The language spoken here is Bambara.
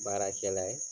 Baarakɛla ye